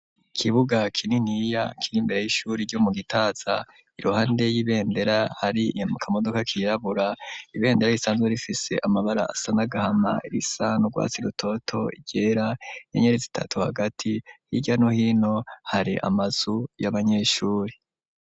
Ikibuga kininiya, kiri imbere y'ishuri, ryo mu Gitaza; iruhande y'ibendera, hari akamodoka kirabura; ibendera risanzwe rifise, amabara asa n'agahama, irisa n'urwatsi rutoto, iryera, inyenyeri zitatu hagati; hirya no hino, hari amazu y'abanyeshuri.